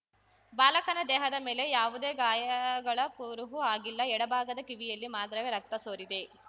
ಬಾಲಕನ ದೇಹದ ಮೇಲೆ ಯಾವುದೇ ಗಾಯಗಳ ಕುರುಹು ಆಗಿಲ್ಲ ಎಡಭಾಗದ ಕಿವಿಯಲ್ಲಿ ಮಾತ್ರವೇ ರಕ್ತ ಸೋರಿದೆ